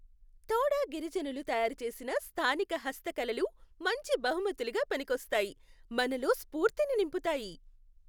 తోడా గిరిజనులు తయారు చేసిన స్థానిక హస్తకళలు మంచి బహుమతులుగా పనికొస్తాయి, మనలో స్ఫూర్తిని నింపుతాయి.